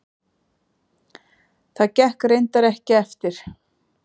Það gekk reyndar ekki eftir.